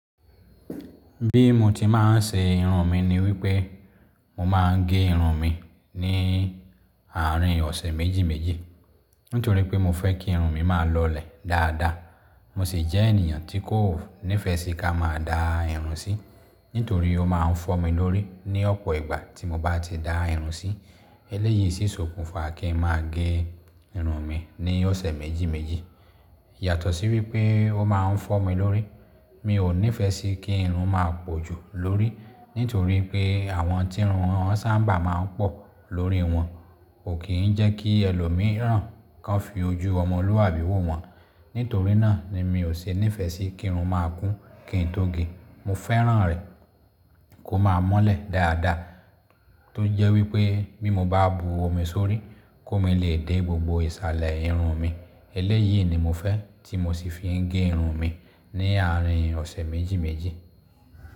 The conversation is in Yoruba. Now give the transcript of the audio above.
Bí mo ti máa ń ṣe irun mi ni wípé mo máa ń gé irun mi ní àárín ọ̀sẹ̀ méjì méjì. Nítorí pé mo fẹ́ kí irun mi máa lọlẹ̀ dáadáa. Mo sì jẹ́ ènìyàn tí kò nífẹ́ sí ká máa da irun sí. Nítorí ó máa ń fọ́ mi lórí ní ọ̀pọ̀ ìgbà tí mo bá ti da irun sí. Eléyìí sì sọ̀kún fa kí n máa gé irun mi ní ọ̀sẹ̀ méjì méjì. Yàtọ̀ sí wípé ó máa ń fọ́ mi lórí. Mi ò nífẹ́ sí kí irun máa pójù lórí. Nítorí pé àwọn tí irun wọn sábà máa ń pọ̀ lórí wọn. Kò kì í jẹ́ kí ẹlòmíràn kan fi ojú ọmọlúàbí wò wọ́n. Nítorí náà ni mi ò ṣe ní ìfẹ́ sí kí irun máa kún kí n tó gé. Mo fẹ́ràn rẹ̀ kó máa mọ́lẹ̀ dáadáa. Tó jẹ́ wípé bí mo bá bu omi sórí kó mi lè dẹ́ gbogbo ìsàlẹ̀ irun mi. Eléyìí ni mo fẹ́ tí mo sì fi ń gé irun mi ní àárín ọ̀sẹ̀ méjì méjì.